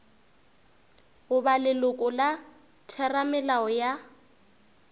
goba leloko la theramelao ya